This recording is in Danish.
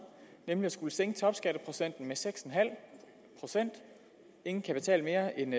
nemlig at skulle sænke topskatteprocenten med seks procent ingen kan betale mere end